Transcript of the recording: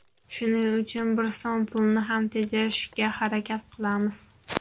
Shuning uchun bir so‘m pulni ham tejashga harakat qilamiz”.